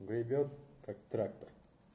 гребёт как трактор